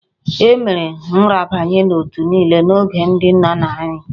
E mere nrabanye n'òtù niile n'oge ndị nna nna anyị